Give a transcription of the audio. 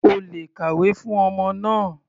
O lè kàwé fún ọmọ náà.